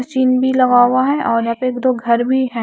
Machine भी लगा हुआ है और यहां पे दो घर भी हैं।